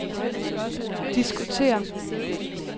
diskutere